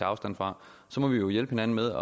afstand fra så må vi jo hjælpe hinanden med